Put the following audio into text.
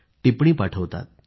टिप्पणी पाठवतात